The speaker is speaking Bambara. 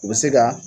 U bɛ se ka